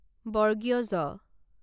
জ